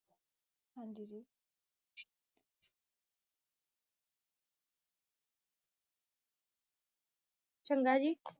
ਚੰਗਾ ਜੀ